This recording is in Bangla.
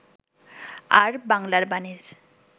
আর 'বাংলার বাণী'র